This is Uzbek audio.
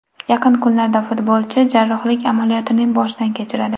Yaqin kunlarda futbolchi jarrohlik amaliyotini boshdan kechiradi.